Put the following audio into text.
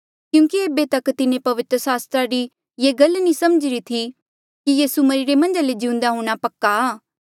क्यूंकि एेबे तक तिन्हें पवित्र सास्त्रा री ये गल नी समझीरी थी कि यीसू मरिरे मन्झा ले जिउंदे हूंणां पक्का आ